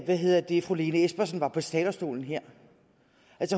hvad hedder det fru lene espersen var på talerstolen her